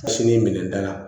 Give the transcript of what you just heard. Sini minɛnta la